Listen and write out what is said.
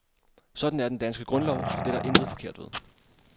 Sådan er den danske grundlov, så det er der intet forkert ved.